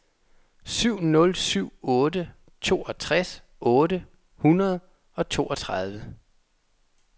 syv nul syv otte toogtres otte hundrede og treogtredive